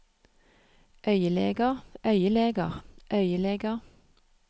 øyeleger øyeleger øyeleger